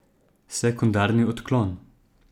Sekundarni odklon.